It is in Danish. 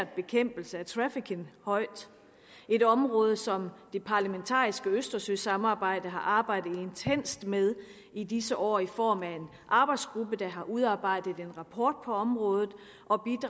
bekæmpelse af trafficking højt et område som det parlamentariske østersøsamarbejde har arbejdet intenst med i disse år i form af en arbejdsgruppe der har udarbejdet en rapport på området